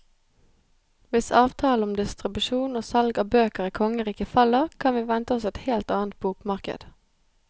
Hvis avtalen om distribusjon og salg av bøker i kongeriket faller, kan vi vente oss et helt annet bokmarked.